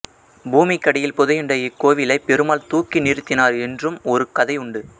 பூமிக்கடியில் புதையுண்ட இக்கோவிலை பெருமாள் தூக்கி நிறுத்தினார் என்றும் ஒரு கதையுண்டு